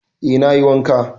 Eh, na yi wanka.